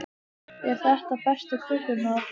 Eru þetta bestu kökurnar?